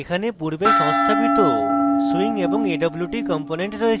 এখানে পূর্বে সংস্থাপিত swing এবং awt components রয়েছে